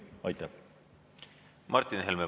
Martin Helme, palun!